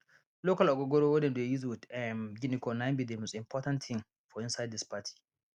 local ogogoro wey dem dey use with um guinea corn na im be the most important thing for inside this party